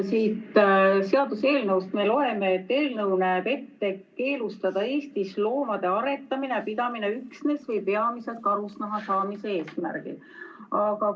Siit seaduseelnõust me loeme, et eelnõu näeb ette keelustada Eestis loomade aretamine ja pidamine üksnes või peamiselt karusnaha saamise eesmärgil.